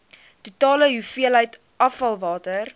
totale hoeveelheid afvalwater